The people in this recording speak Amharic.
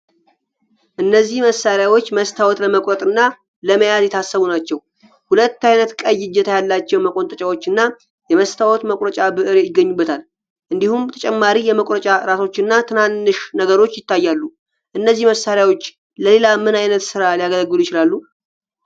እነዚህ መሳሪያዎች መስታወት ለመቁረጥ እና ለመያዝ የታሰቡ ናቸው። ሁለት አይነት ቀይ እጀታ ያላቸው መቆንጠጫዎች እና የመስታወት መቁረጫ ብዕር ይገኙበታል። እንዲሁም ተጨማሪ የመቁረጫ ራሶችና ትናንሽ ነገሮች ይታያሉ። እነዚህ መሳሪያዎች ለሌላ ምን አይነት ስራ ሊያገለግሉ ይችላሉ?